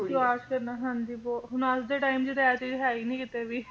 ਵਿਸ਼ਵਾਸ ਕਰਨਾ ਹਾਂਜੀ ਬਹੁਤ ਹੁਣ ਅੱਜ ਦੇ time ਚ ਤਾਂ ਆ ਚੀਜ਼ ਹੈ ਹੀ ਨੀ ਕਿਤੇ ਵੀ